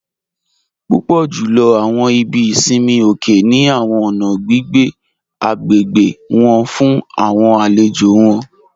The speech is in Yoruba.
Púpọ̀ júlọ̀ awọn ìbí ìṣinmi òkè ni awọn ọ̀nà gbigbé agbégbe wọn fún awọn àlèjò wọn